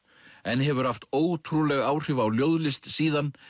en hefur haft ótrúleg áhrif á ljóðlist síðan